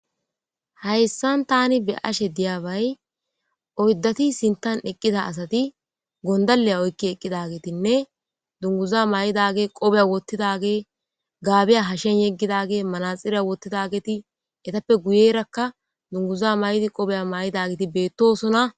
Haysan tani be'ishe diyabay oydati sintan eqiza asati gondaliya oyiki eqidagetinne dunguza maydage qobiya wotidage gabiya hashiyan yegidage manaxiriya wotidageti etape guyeraka dunguza mayidi qobiya mayirageti betosona.